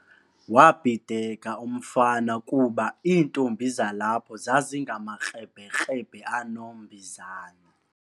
Wabhideka umfana kuba iintombi zalapho zazingamakrebhekrebhe anombizane.